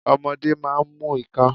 Ọmọdé máa ń mu ìka.